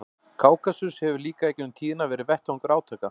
Kákasus hefur líka í gegnum tíðina verið vettvangur átaka.